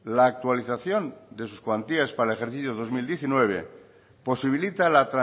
la actualización de sus cuantías para el ejercicio dos mil diecinueve posibilita la